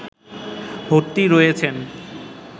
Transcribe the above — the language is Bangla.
ভর্তি রয়েছেন